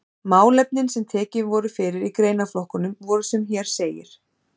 Málefnin sem tekin voru fyrir í greinaflokkunum voru sem hér segir